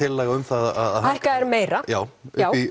tillaga um að hækka þær meira já já